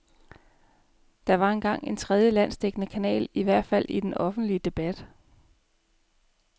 Der var engang en tredje, landsdækkende kanal, i hvert fald i den offentlige debat.